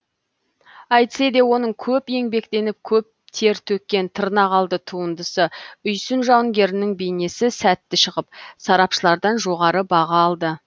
әйтсе де оның көп еңбектеніп көп тер төккен тырнақалды туындысы үйсін жауынгерінің бейнесі сәтті шығып сарапшылардан жоғары баға алды